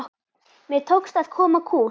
Mér tókst að koma kúl